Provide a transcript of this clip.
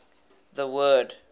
the word